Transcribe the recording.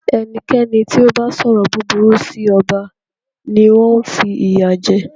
Ẹnikẹ́ni tí o bá sọrọ búburú sí ọba ni wọn fi ìyà jẹ.